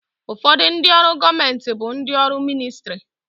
Ụfọdụ ndị ọrụ gọọmenti bụ ndị ọrụ ministrị